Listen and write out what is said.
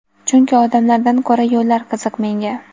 Chunki odamlardan ko‘ra yo‘llar qiziq menga.